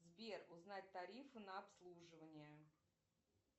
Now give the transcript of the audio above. сбер узнать тарифы на обслуживание